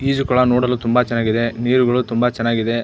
ಈಜುಕೊಳ ನೋಡಲು ತುಂಬಾ ಚನ್ನಾಗಿದೆ ನೀರುಗಳು ತುಂಬಾ ಚನ್ನಾಗಿದೆ.